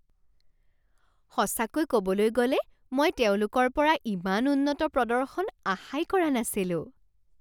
সঁচাকৈ ক'বলৈ গ'লে মই তেওঁলোকৰ পৰা ইমান উন্নত প্ৰদৰ্শন আশাই কৰা নাছিলোঁ।